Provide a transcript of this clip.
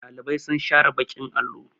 Ɗalibai sun share baƙin allo.